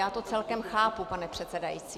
Já to celkem chápu, pane předsedající.